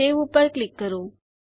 save પર click કરો